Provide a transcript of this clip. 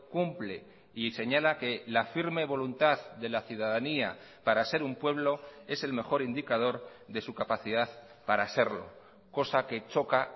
cumple y señala que la firme voluntad de la ciudadanía para ser un pueblo es el mejor indicador de su capacidad para serlo cosa que choca